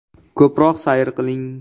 Ko‘proq sayr qiling.